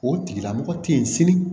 O tigilamɔgɔ tɛ yen sini